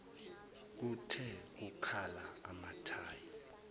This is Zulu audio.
kuthe kukhala amathayi